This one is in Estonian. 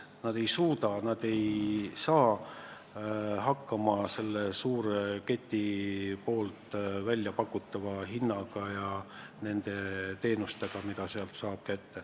Nad ei suuda konkureerida suure keti pakutavate hindade ja teenustega.